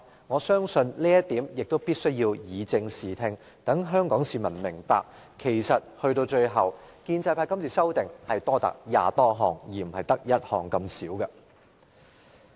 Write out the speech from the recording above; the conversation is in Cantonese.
我相信，對於這一點，必須以正視聽，讓香港市民明白建制派今次的修訂建議多達20多項，而不止1項。